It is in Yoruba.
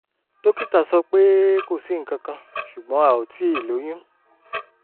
dókítà sọ pé kò sí nǹkan kan ṣùgbọ́n a ò tíì lóyún